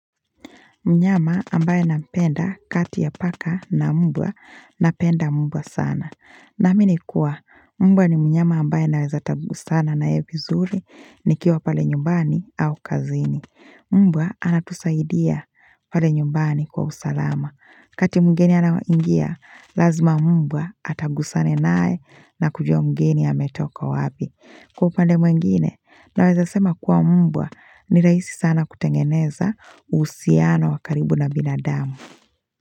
Mnyama ambaye nampenda kati ya paka na mbwa, napenda mbwa sana. Naamini kuwa, mbwa ni mnyama ambaye naweza tabu sana na yeye vizuri nikiwa pale nyumbani au kazini. Mbwa anatusaidia pale nyumbani kwa usalama. Wakati mgeni anaingia, lazima mmbwa atagusana naye na kujua mgeni ametoka wapi. Kwa upande mwingine na weza sema kuwa mbwa ni rahisi sana kutengeneza uhusiano wa karibu na binadamu.